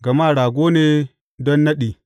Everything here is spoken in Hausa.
Gama rago ne don naɗi.